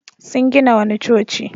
Sun gina wani coci.